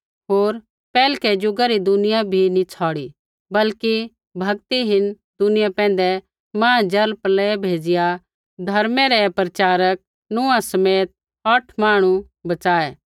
होर पैहलै ज़ुगा री दुनिया भी नी छ़ौड़ी बल्कि भक्तिहीन दुनिया पैंधै महा जलप्रलय भेज़िआ धर्मै रै प्रचारक नूहा समेत औठ मांहणु बच़ाऐ